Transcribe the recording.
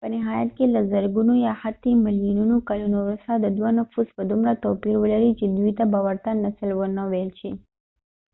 په نهایت کې له زرګونو یا حتی ملیونونو کلونو وروسته دوه نفوس به دومره توپیر ولري چې دوی ته به ورته نسل ونه ویل شي